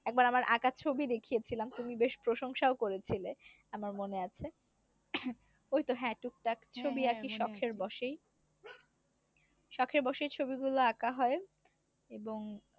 একবার আকার ছবি দেখিয়েছিলাম তুমি বেশ প্রসংশাও করেছিলে আমার মনে আছে ওই তো হ্যা টুকটাক ছবি আকি শখের বসেই শখের বসেই ছবিগুলো আকা হয়। এবং